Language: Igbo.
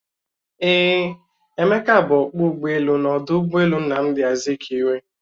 Eeh, Emeka bu ọkpọ ụgbọelu n'ọdụ ụgbọelu Nnamdi Azikiwe